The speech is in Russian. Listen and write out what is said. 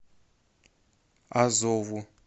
азову